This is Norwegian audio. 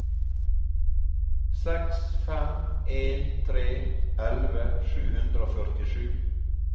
seks fem en tre elleve sju hundre og førtisju